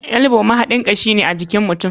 Elbow mahaɗar kashi ne ajikin mutum.